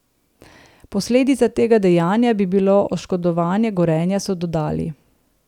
Posledica tega dejanja bi bilo oškodovanje Gorenja, so dodali.